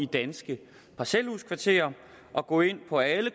danske parcelhuskvarterer og gå ind på alle